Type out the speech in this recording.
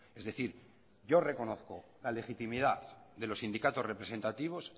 es decir yo reconozco la legitimidad de los sindicatos representativos